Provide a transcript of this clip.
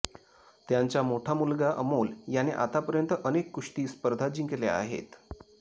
त्यांचा मोठा मुलगा अमोल याने आतापर्यंत अनेक कुस्ती स्पर्धा जिंकल्या आहेत